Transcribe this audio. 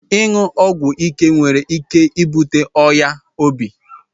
Inyu ogwu ike nwere ike ibute oya obi.